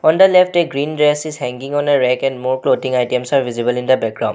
On the left a green dress is hanging on a rack and more clothing items are visible in the background.